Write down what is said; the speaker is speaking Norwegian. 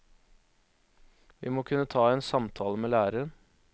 Vi må kunne ta en samtale med læreren.